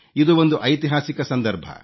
ಇದು ಒಂದು ಐತಿಹಾಸಿಕ ಸಂದರ್ಭ